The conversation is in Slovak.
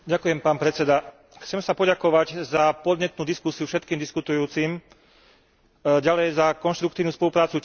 Chcem sa poďakovať za podnetnú diskusiu všetkým diskutujúcim, ďalej za konštruktívnu spoluprácu tieňovým spravodajcom.